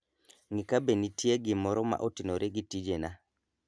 ng'i kabe nitie gimro ma otenore gi tijena